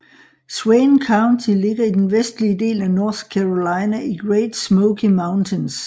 Swain County ligger i den vestlige del af North Carolina i Great Smoky Mountains